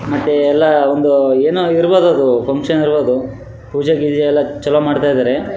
ಮತ್ತೆ ಎಲ್ಲ ಒಂದು ಏನೋ ಇರ್ಬಹುದು ಅದು ಫಂಕ್ಷನ್ ಇರ್ಬಹುದು ಪೂಜೆ ಗೀಜೆ ಎಲ್ಲ ಚಲೋ ಮಾಡ್ತ ಇದಾರೆ.